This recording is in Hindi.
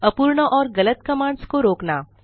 अपूर्ण और गलत कमांड्स को रोकना